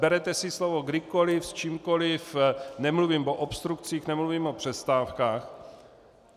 Berete si slovo kdykoliv s čímkoliv, nemluvím o obstrukcích, nemluvím o přestávkách.